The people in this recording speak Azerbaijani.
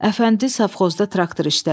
Əfəndi safxozda traktor işlədir.